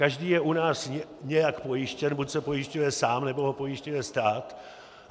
Každý je u nás nějak pojištěn, buď se pojišťuje sám, nebo ho pojišťuje stát.